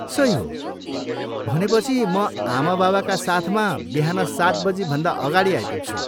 सही हो। भनेपछि म आमाबाबाका साथमा बिहान सात बजीभन्दा अगाडि आइपुग्छु।